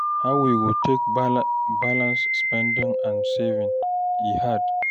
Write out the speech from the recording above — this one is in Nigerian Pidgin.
How we go take balance spending and saving, e hard.